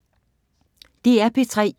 DR P3